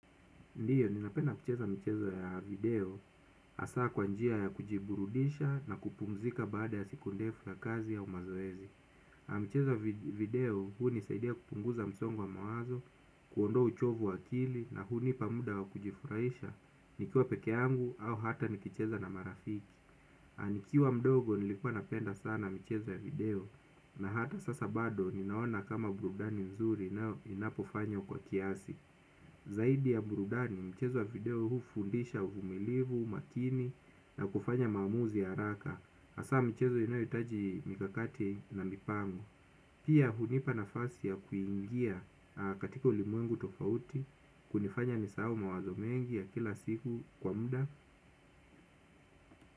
Ndio, ninapenda kucheza michezo ya video, hasa kwa njia ya kujiburudisha na kupumzika baada ya siku ndefu na kazi au mazoezi mchezo wa video hunisaidia kupunguza msongo wa mawazo, kuondoa uchovu wa akili na hunipa muda wa kujifurahisha nikiwa peke yangu au hata nikicheza na marafiki aah, nikiwa mdogo, nilikuwa napenda sana michezo ya video, na hata sasa bado, ninaona kama burudani nzuri na inapofanywa kwa kiasi. Zaidi ya burudani, michezo ya video hufundisha uvumilivu, umakini na kufanya maamuzi ya haraka hasa michezo inayotaji mikakati na mipango. Pia hunipa nafasi ya kuingia katika ulimwengu tofauti. Hunifanya nisahau mawazo mengi ya kila siku kwa muda.